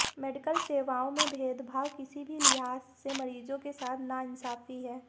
medical सेवाओं में भेदभाव किसी भी लिहाज़ से मरीजों के साथ नाइंसाफी है